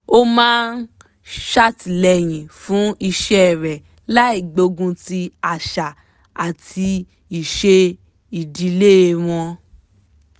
ó máa ń ṣàtìlẹyìn fún iṣẹ́ rẹ̀ láì gbógun ti àṣà àti ìṣe ìdílé wọn